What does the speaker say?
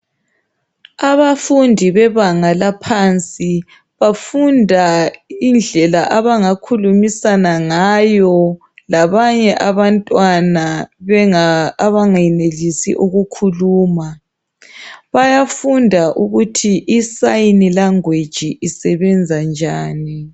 Abafundi bebanga laphansi, bafunda indlela abangakhulumisana ngayo labanye abantwana abangenelisi ukukhuluma. Bayafunda ukuthi isayini language isebenza njani.